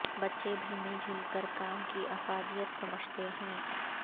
بچے بھی مل جل کر کام کی افادیت سمجھتے ہیں